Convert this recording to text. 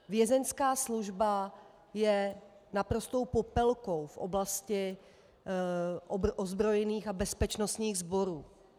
Vězeňská služba je naprostou popelkou v oblasti ozbrojených a bezpečnostních sborů.